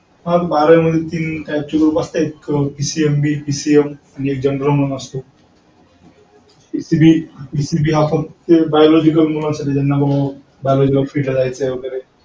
अह बारावी मध्ये तीन type चे ग्रुप असत. एक PCMBPCM आणि एक general असतो. PCBPCB हा फक्त biological मुलांसाठी असतो ज्यांना फक्त biology field ला जायचं आहे वगैरे.